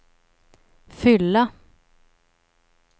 fylla